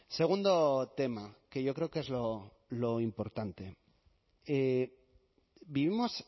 segundo tema que yo creo que es lo importante vivimos